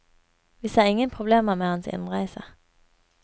Vi ser ingen problemer med hans innreise.